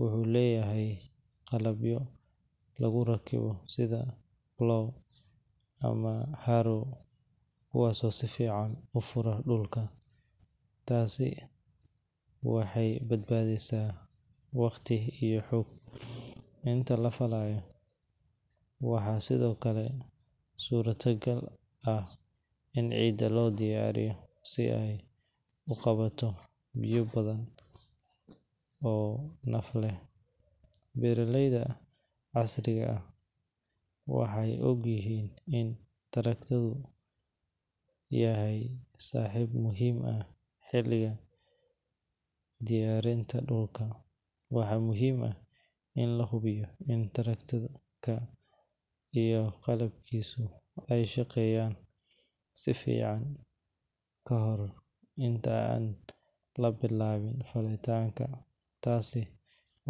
wuxuu leeyahay qalabyo lagu rakibo sida plow ama harrow, kuwaasoo si fiican u fura dhulka. Tani waxay badbaadisaa waqti iyo xoog. Inta la falayo, waxaa sidoo kale suurtagal ah in ciidda loo diyaariyo si ay u qabato biyo badan oo naf leh. Beeraleyda casriga ah waxay og yihiin in tractor-ku yahay saaxiib muhiim ah xilliga diyaarinta dhulka. Waxaa muhiim ah in la hubiyo in tractor-ka iyo qalabkiisu ay shaqeynayaan si fiican ka hor inta aan la bilaabin falitaanka. Taasi.